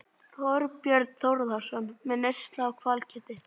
Þorbjörn Þórðarson: Með neyslu á hvalkjöti?